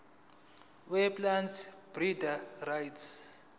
weplant breeders rights